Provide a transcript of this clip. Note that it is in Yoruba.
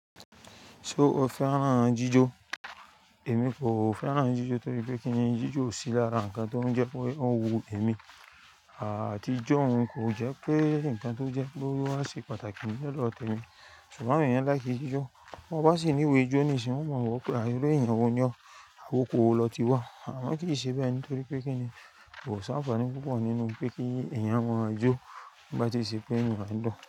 Ṣé o fẹ́ràn jíjó? Èmi kò fẹ́ràn jíjó torí pé kí n jíjó ò sì lára nǹkan tó ń jẹ́ pé òun wu èmi. Àti jó òun kò jẹ́ pé nǹkan tó jẹ́ pé ó wá ṣe pàtàkì ní ọ̀dọ̀ tèmi. Ṣùgbọ́n àwọn èèyàn láìkí jíjó, bó o bá sì ní ìwọ è é jó ní i sin, wọ́n o mọ̀ wò ọ́ pé irú èèyàn wo ni ọ́, oko wo lọ ti wá. Àmọ́ kì í ṣe bẹ́ẹ̀ nítorí pé kí n mí kò san àfààní púpọ̀ nínú pé kí èèyàn máa jó nígbì tí ì ṣe pé inú rẹ̀ ń dùn.